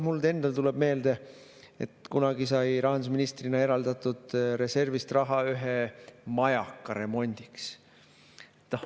Mul endal tuleb meelde, et kunagi sai rahandusministrina eraldatud reservist raha ühe majaka remondiks.